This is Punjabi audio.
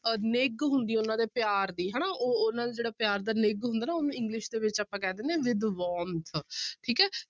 ਅਹ ਨਿੱਘ ਹੁੰਦੀ ਹੈ ਉਹਨਾਂ ਦੇ ਪਿਆਰ ਦੀ ਹਨਾ ਉਹ ਉਹਨਾਂ ਦਾ ਜਿਹੜਾ ਪਿਆਰ ਦਾ ਨਿੱਘ ਹੁੰਦਾ ਉਹਨੂੰ english ਦੇ ਵਿੱਚ ਆਪਾਂ ਕਹਿ ਦਿੰਦੇ ਹਾਂ with warmth ਠੀਕ ਹੈ